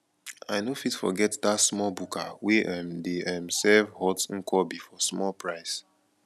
i no fit forget dat small buka wey um dey um serve hot nkwobi for small price